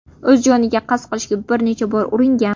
O‘z joniga qasd qilishga bir necha bor uringan.